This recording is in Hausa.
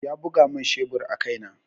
Ya buga mun shebur a kai na.